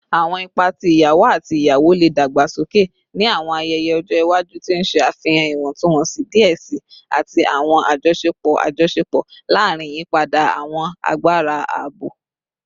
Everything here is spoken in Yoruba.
Awọn ipa ti iyawo ati iyawo le dagbasoke ni awọn ayẹyẹ ọjọ iwaju, ti n ṣe afihan iwọntunwọnsi diẹ sii ati awọn ajọṣepọ ajọṣepọ larin iyipada awọn agbara abo.